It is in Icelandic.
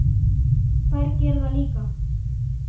Þær gera það líka?